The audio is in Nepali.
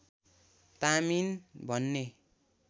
तामिन भन्ने